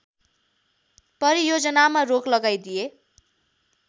परियोजनामा रोक लगाइदिए